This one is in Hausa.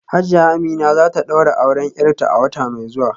Hajiya Amina za ta daura auren ‘yarta a wata mai zuwa